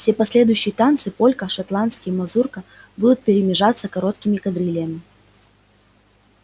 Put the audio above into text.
все последующие танцы полька шотландский мазурка будут перемежаться короткими кадрилями